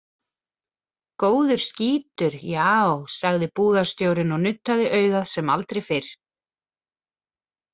Góður skítur, já, sagði búðastjórinn og nuddaði augað sem aldrei fyrr.